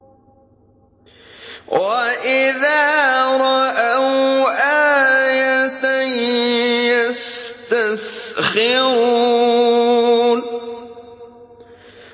وَإِذَا رَأَوْا آيَةً يَسْتَسْخِرُونَ